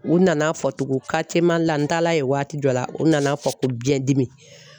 U nana fɔ tuguni Karitiye Mali la n taala ye waati jɔ la u nana fɔ ko biɲɛdimi